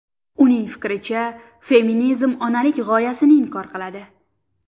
Uning fikricha, feminizm onalik g‘oyasini inkor qiladi.